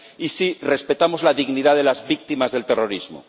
y si respetamos la dignidad de las víctimas del terrorismo.